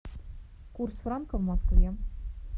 курс франка в москве